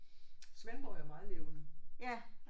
Svendborg er jo meget levende